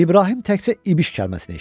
İbrahim təkcə İbiş kəlməsini eşitdi.